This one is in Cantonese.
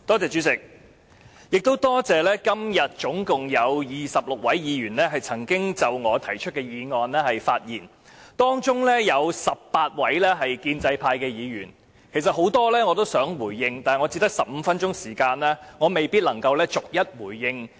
主席，多謝今天總共有26位議員曾經就我提出的議案發言，當中有18位建制派議員，其實我想就其中多位議員的發言回應，但我只有15分鐘時間，未必能夠逐一回應。